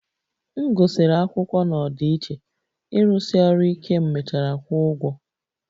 M gụsịrị akwụkwọ na ọdịiche, ịrụsi ọrụ ike m mechara kwụọ ụgwọ